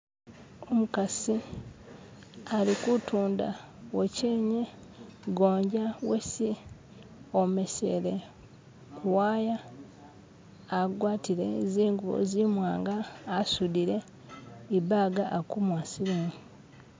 Umukasi, ali kutunda wochenye gonja wesi omesele ku waya agwatile zingubo zimwanga asudile ibaga akumuwa silingi.